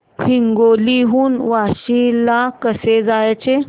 हिंगोली हून वाशीम ला कसे जायचे